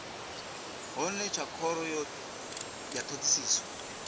hone tsha khoro ya thodisiso